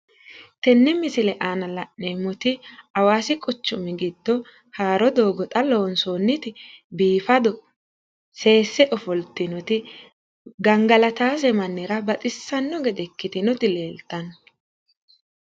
tenne misile aana la'neemmoti hawaasi quchumi giddo haaro doogo xa loonsoonniti biifado seesse ofoltinoti gangalatawose mannira baxissanno gede ikkitinoti leeltanno.